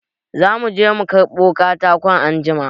Za mu je mu karɓi katako anjima.